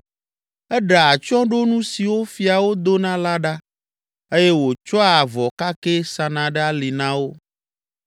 Eɖea atsyɔ̃ɖonu siwo fiawo dona la ɖa eye wòtsɔa avɔ kakɛ sana ɖe ali na wo.